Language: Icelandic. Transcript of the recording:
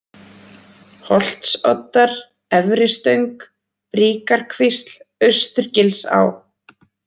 Holtsoddar, Efri-Stöng, Bríkarkvísl, Austurgilsá